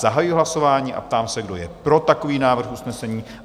Zahajuji hlasování a ptám se, kdo je pro takový návrh usnesení?